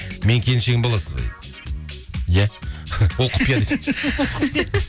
менің келіншегім боласыз ба дейді иә ол құпия